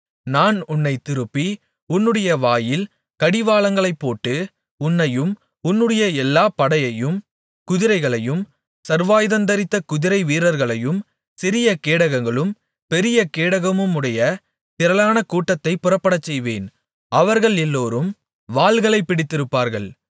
நான் உன்னைத் திருப்பி உன்னுடைய வாயில் கடிவாளங்களைப் போட்டு உன்னையும் உன்னுடைய எல்லாச் படையையும் குதிரைகளையும் சர்வாயுதந்தரித்த குதிரை வீரர்களையும் சிரியகேடகங்களும் பெரிய கேடகமுமுடைய திரளான கூட்டத்தையும் புறப்படச்செய்வேன் அவர்கள் எல்லோரும் வாள்களைப் பிடித்திருப்பார்கள்